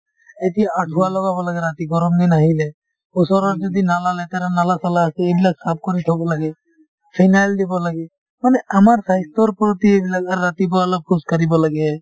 এতিয়া আঠুৱা লগাব লাগে ৰাতি গৰম দিন আহিলে ওচৰত যদি নালা লেতেৰা নালা-চালা আছে এইবিলাক চাফ কৰি থব লাগে phenyl দিব লাগে মানে আমাৰ স্বাস্থ্যৰ প্ৰতি এইবিলাক অ ৰাতিপুৱা অলপ খোজকাঢ়িব লাগে